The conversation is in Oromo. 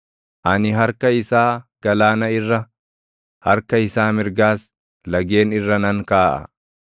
Ani harka isaa galaana irra, harka isaa mirgaas lageen irra nan kaaʼa.